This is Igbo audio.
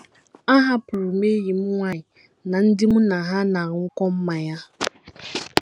Ahapụrụ m enyi m nwanyị na ndị mụ na ha na - aṅụkọ mmanya.